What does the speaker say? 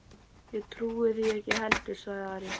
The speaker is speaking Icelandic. Ég trúi því ekki heldur, sagði Ari.